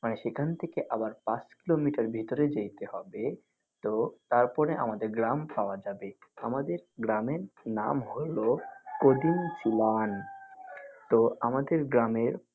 মানে সেখান থেকে আবার পাঁচ কিলোমিটার ভিতরে যাইতে হবে তো তারপর আমাদের গ্রাম পাওয়া যাবে। আমাদের গ্রামের নাম হলো কদিনচলান। তো আমাদের গ্রামের।